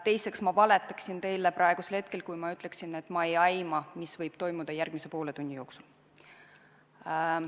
Teiseks, ma valetaksin teile praegu, kui ma ütleksin, et ma ei aima, mis võib toimuda järgmise poole tunni jooksul.